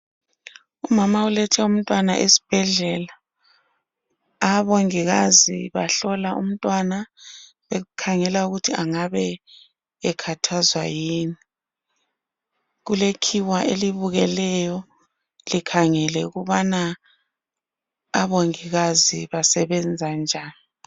Umama ulethe umtwana esibhedlela, omongikazi bahlola umntwana bekhangela ukuthi engabe ekhathazwa yini ,kulekhiwa elibukeleyo likhangele ukubana omongikazi basebenza njani